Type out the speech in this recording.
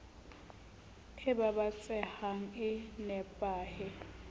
e baba tsehang e nepahe